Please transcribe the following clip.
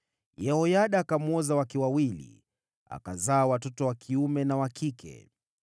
Yehoyada akamwoza wake wawili, akazaa watoto wa kiume na wa kike.